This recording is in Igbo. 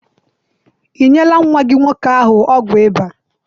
I nyela nwa gị nwoke ahụ ọgwụ ịba?